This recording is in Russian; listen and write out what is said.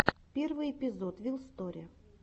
первый эпизод вил сторе